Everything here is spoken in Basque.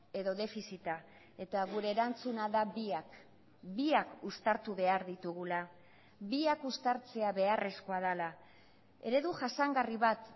edo defizita eta gure erantzuna da biak biak uztartu behar ditugula biak uztartzea beharrezkoa dela eredu jasangarri bat